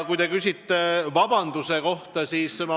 Te küsisite vabandamise kohta.